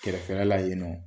Kɛrɛfɛ la yen nɔ.